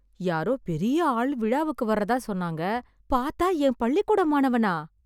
யாரோ பெரிய ஆள் விழாக்கு வர்றதா சொன்னாங்க, பார்த்தால் என் பள்ளிக்கூட மாணவனா?!